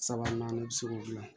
Sabanan i bɛ se k'o dilan